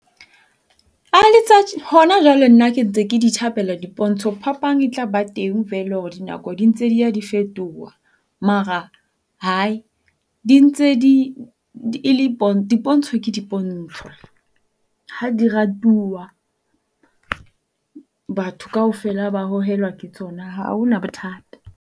Hona jwale nna ke ntse ke di thabela dipontsho. Phapang e tlaba teng vele hore dinako di ntse dia di fetoha. Mara dintse di ele dipontsho ke dipontsho ha di ratuwa, batho kaofela, ba hohelwa ke tsona. Ha hona bothata